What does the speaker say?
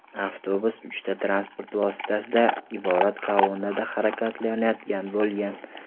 Avtobus uchta transport vositasidan iborat kolonnada harakatlanayotgan bo‘lgan.